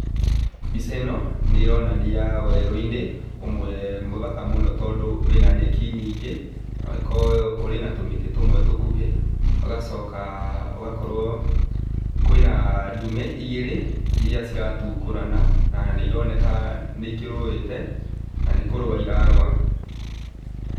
Mbica ĩno nĩronania werũ-inĩ ũmwe mũthaka mũno tondũ wĩna nyeki nyingĩ, na ũrĩ na tũmĩtĩ tũmwe tũkuhĩ ũgacoka ũgakorũo kwĩna ndũme igĩrĩ iria ciratukũrana na nĩironeka nĩ ikĩrũĩte na nĩkũrũa irarũa.